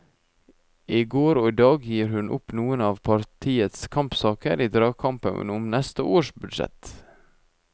I går og i dag gir hun opp noen av partiets kampsaker i dragkampen om neste års budsjett.